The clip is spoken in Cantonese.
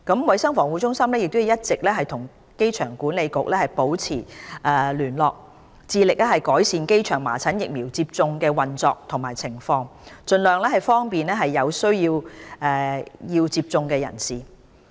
衞生防護中心一直與香港機場管理局保持緊密聯絡，致力改善機場麻疹疫苗接種站的運作和情況，盡量方便有需要接種疫苗的人士。